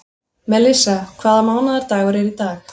Melissa, hvaða mánaðardagur er í dag?